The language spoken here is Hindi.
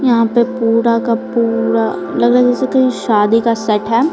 यहां पे पूरा का पूरा लग रहा है जैसे कहीं शादी का सेट है।